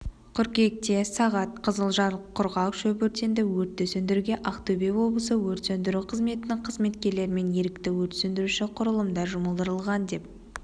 қыркүйекте сағат қызылжар құрғақ шөп өртенді өртті сөндіруге ақтөбе облысы өрт сөндіру қызметінің қызметкерлері мен ерікті өрт сөндіруші құрылымдар жұмылдырылған деп